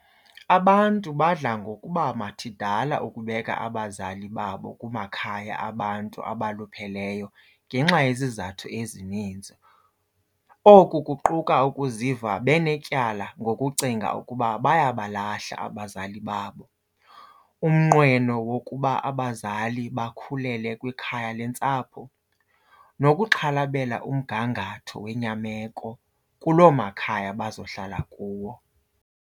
Abantu badla ngokuba mathidala ukubeka abazali babo kumakhaya abantu abalupheleyo ngenxa yezizathu ezininzi. Oku kuquka ukuziva benetyala ngokucinga ukuba baya balahla abazali babo, umnqweno wokuba abazali bakhulele kwikhaya leentsapho nokuxhalabela umgangatho wenyameko kuloo makhaya bazohlala kuwo.